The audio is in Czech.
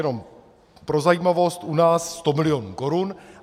Jenom pro zajímavost, u nás 100 milionů korun.